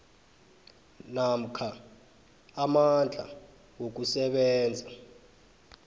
namkha amandla wokusebenza